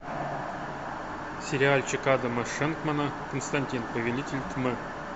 сериальчик адама шенкмана константин повелитель тьмы